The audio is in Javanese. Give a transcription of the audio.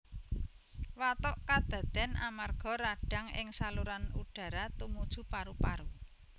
Watuk kadaden amarga radang ing saluran udara tumuju paru paru